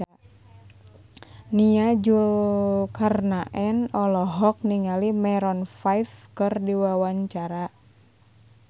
Nia Zulkarnaen olohok ningali Maroon 5 keur diwawancara